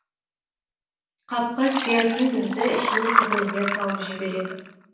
қапқа сиятын бізді ішіне тігімізден салып жібереді